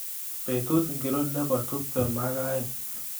Betut ngiro nebo tuptem ak aeng